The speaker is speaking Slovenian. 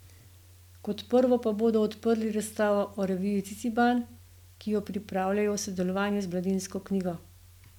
Kot prvo pa bodo odprli razstavo o reviji Ciciban, ki jo pripravljajo v sodelovanju z Mladinsko knjigo.